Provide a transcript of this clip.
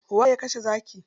Waye ya kashe zaki?